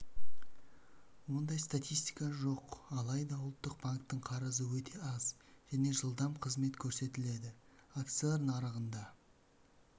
ондай статистика жоқ алайда ұлттық банктің қарызы өте аз және жылдам қызмет көрсетіледі акциялар нарығында